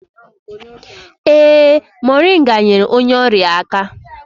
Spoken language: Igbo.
Ee, moringa nyeere onye ọrịa aka